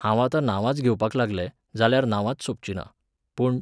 हांव आतां नांवांच घेवपा लागलें, जाल्यार नांवांच सोंपचिंना, पूण